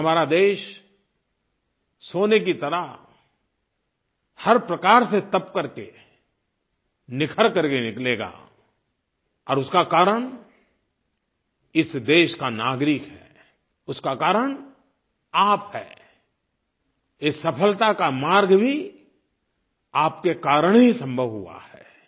और हमारा देश सोने की तरह हर प्रकार से तप करके निखर करके निकलेगा और उसका कारण इस देश का नागरिक है उसका कारण आप हैं इस सफलता का मार्ग भी आपके कारण ही संभव हुआ है